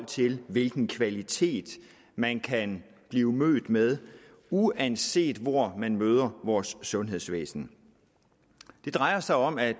til hvilken kvalitet man kan blive mødt med uanset hvor man møder vores sundhedsvæsen det drejer sig om at